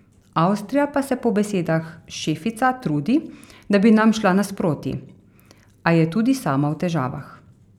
Avstrija pa se po besedah Šefica trudi, da bi nam šla nasproti, a je tudi sama v težavah.